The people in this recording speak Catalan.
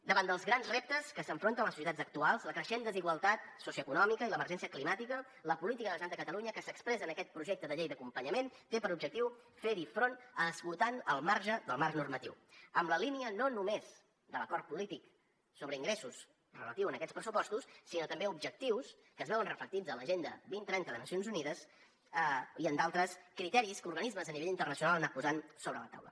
davant dels grans reptes a què s’enfronten les societats actuals la creixent desigualtat socioeconòmica i l’emergència climàtica la política de la generalitat a catalunya que s’expressa en aquest projecte de llei d’acompanyament té per objectiu fer hi front esgotant el marge del marc normatiu en la línia no només de l’acord polític sobre ingressos relatiu a aquests pressupostos sinó també a objectius que es veuen reflectits en l’agenda dos mil trenta de nacions unides i en d’altres criteris que organismes a nivell internacional han anat posant sobre la taula